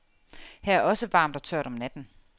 Her er også varmt og tørt om natten.